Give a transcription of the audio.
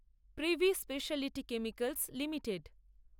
privy Speciality Chemicals limited